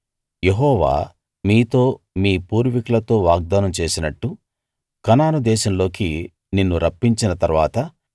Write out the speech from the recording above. యెహోవా మీతో మీ పూర్వికులతో వాగ్దానం చేసినట్టు కనాను దేశంలోకి నిన్ను రప్పించిన తరువాత